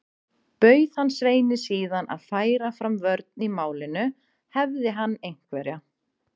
Bauð hann Sveini síðan að færa fram vörn í málinu, hefði hann einhverja.